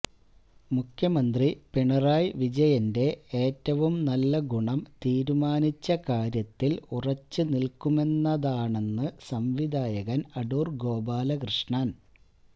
മുഖ്യമന്ത്രി പിണറായി വിജയന്റെ ഏറ്റവും നല്ല ഗുണം തീരുമാനിച്ച കാര്യത്തില് ഉറച്ച് നില്ക്കുമെന്നതാണെന്ന് സംവിധായകന് അടൂര് ഗോപാലകൃഷ്ണന്